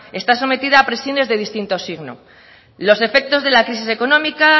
está sometida a presiones de distintos signo los efectos de la crisis económica